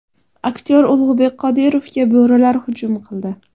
Aktyor Ulug‘bek Qodirovga bo‘rilar hujum qildi.